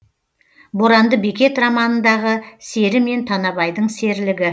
боранды бекет романындағы сері мен танабайдың серілігі